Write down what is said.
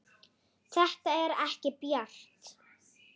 Þetta er ekki bjart.